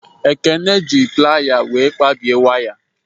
Ekene ji playa were kpabie waya